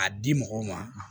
A di mɔgɔw ma